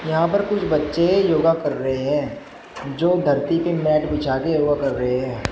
यहां पर कुछ बच्चे योगा कर रहे हैं जो धरती पर मैट बिछा कर योगा कर रहे हैं।